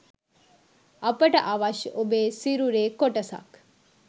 අපට අවශ්‍ය ඔබේ සිරුරේ කොටසක්